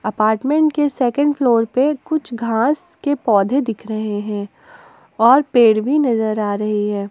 Apartment के second floor पे कुछ घास के पौधे दिख रहे हैं और पेड़ भी नजर आ रहे है।